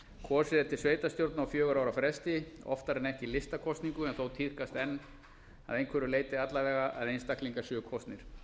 kosið er til sveitarstjórna á fjögurra ára fresti oftar en ekki listakosningu en þó tíðkast enn að einhverju leyti alla vega að einstaklingar séu kosnir